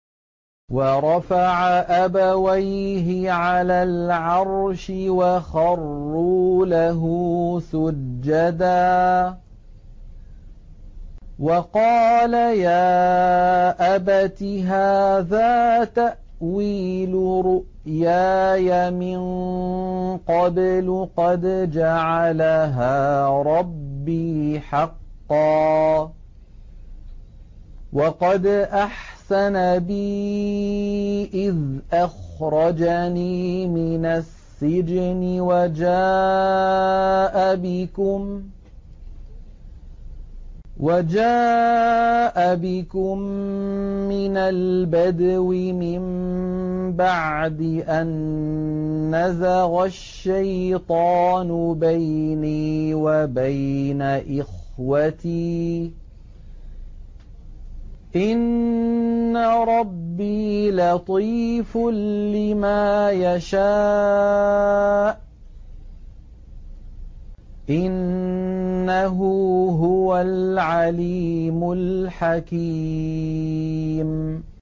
وَرَفَعَ أَبَوَيْهِ عَلَى الْعَرْشِ وَخَرُّوا لَهُ سُجَّدًا ۖ وَقَالَ يَا أَبَتِ هَٰذَا تَأْوِيلُ رُؤْيَايَ مِن قَبْلُ قَدْ جَعَلَهَا رَبِّي حَقًّا ۖ وَقَدْ أَحْسَنَ بِي إِذْ أَخْرَجَنِي مِنَ السِّجْنِ وَجَاءَ بِكُم مِّنَ الْبَدْوِ مِن بَعْدِ أَن نَّزَغَ الشَّيْطَانُ بَيْنِي وَبَيْنَ إِخْوَتِي ۚ إِنَّ رَبِّي لَطِيفٌ لِّمَا يَشَاءُ ۚ إِنَّهُ هُوَ الْعَلِيمُ الْحَكِيمُ